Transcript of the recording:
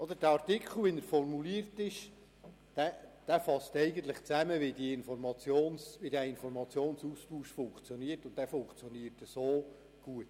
So wie der Artikel formuliert ist, fasst er eigentlich zusammen, wie der Informationsaustausch funktioniert, und er funktioniert gut.